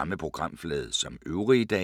Samme programflade som øvrige dage